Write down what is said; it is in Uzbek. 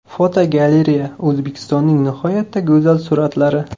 Fotogalereya: O‘zbekistonning nihoyatda go‘zal suratlari.